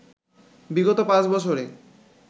বিগত পাঁচ বছরে